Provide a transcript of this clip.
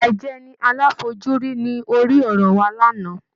Ìfìyàjẹni aláfojúrí ní orí-ọ̀rọ̀ wa lánàá.